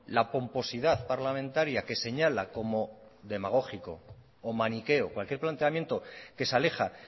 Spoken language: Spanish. la pomposidad parlamentaria que señala como demagógico o maniqueo cualquier planteamiento que se aleja